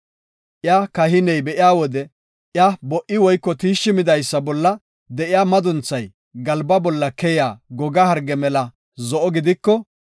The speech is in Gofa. Iya kahiney be7iya wode iya bo77i woyko tiishshi midaysa bolla de7iya madunthay galba bolla keyiya goga harge mela zo7o gidiko,